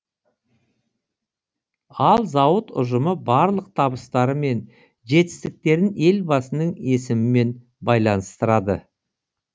ал зауыт ұжымы барлық табыстары мен жетістіктерін елбасының есімімен байланыстырады